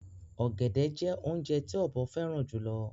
ògẹ̀dẹ̀ jẹ́ ọ̀unjẹ̀ tì òbọ̀ fẹran jùlọ̀.